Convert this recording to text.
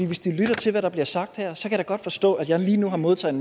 hvis de lytter til hvad der bliver sagt her så kan godt forstå at jeg lige nu har modtaget